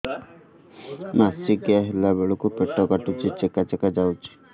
ମାସିକିଆ ହେଲା ବେଳକୁ ପେଟ କାଟୁଚି ଚେକା ଚେକା ଯାଉଚି